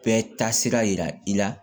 Bɛɛ taasira yira i la